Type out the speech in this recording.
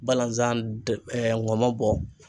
Balanzan ŋɔmɔ bɔ.